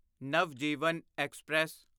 Navjivan express